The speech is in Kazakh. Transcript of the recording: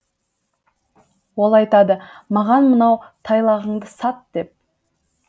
ол айтады маған мынау тайлағыңды сат деп